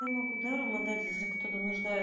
я могу даром отдать если кто-то